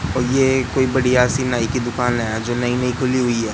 और ये कोई बढ़िया सी नाई की दुकान है जो नई नई खुली हुई है।